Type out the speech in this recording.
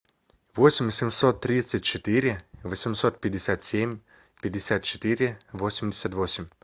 восемь семьсот тридцать четыре восемьсот пятьдесят семь пятьдесят четыре восемьдесят восемь